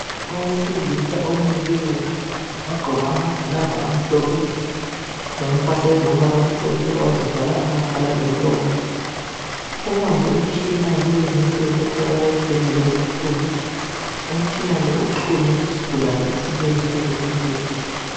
Owesilisa omileyo, wagqoka amagilavu amhlophe, wagqoka impahla ezilombala omhlophe wazivala amakhala lomlomo. Ubambe umtshina wakule,i insuku otholakala esibhedlela esikhulu, umtshina lowu uxhunywe kusigulane esilele phezu kombheda.